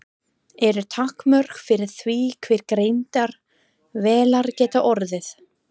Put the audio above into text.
Eru takmörk fyrir því hve greindar vélar geta orðið?